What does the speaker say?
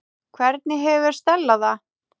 Hvernig hefur Stella það?